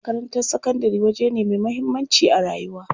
Makarantar sakandari waje ne me muhammanci a rayuwa.